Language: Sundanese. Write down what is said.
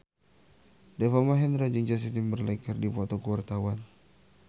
Deva Mahendra jeung Justin Timberlake keur dipoto ku wartawan